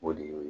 O de y'o ye